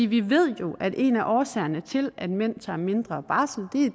vi ved jo at en af årsagerne til at mænd tager mindre barsel